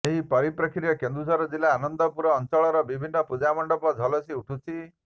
ଏହି ପରିପ୍ରେକ୍ଷୀରେ କେନ୍ଦୁଝର ଜିଲ୍ଲା ଆନନ୍ଦପୁର ଅଞ୍ଚଳର ବିଭିନ୍ନ ପୂଜାମଣ୍ଡପ ଝଲସି ଉଠୁଛି